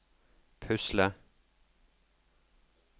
pusle